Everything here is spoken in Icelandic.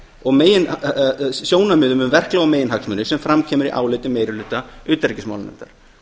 og megin sjónarmiðum um verklag og meginhagsmuni sem fram kemur í áliti meiri hluta utanríkismálanefndar